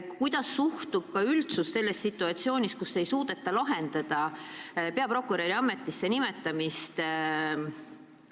Ja kuidas suhtub üldsus sellesse situatsiooni, kus ei suudeta lahendada peaprokuröri ametisse nimetamist?